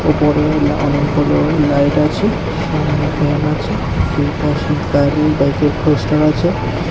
উপরে অনেকগুলো লাইট আছে সামনে ফ্যান আছে ঐপাশে গাড়ি বাইকের পোস্টার আছে।